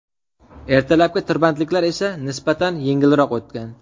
Ertalabki tirbandliklar esa nisbatan yengilroq o‘tgan.